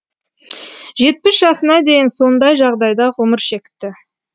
жетпіс жасына дейін сондай жағдайда ғұмыр кешті